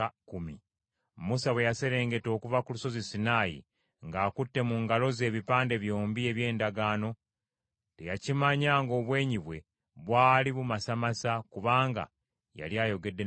Musa bwe yaserengeta okuva ku lusozi Sinaayi ng’akutte mu ngalo ze ebipande byombi eby’Endagaano, teyakimanya ng’obwenyi bwe bwali bumasamasa kubanga yali ayogedde ne Mukama .